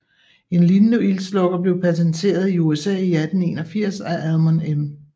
En lignende ildslukker blev patenteret i USA i 1881 af Almon M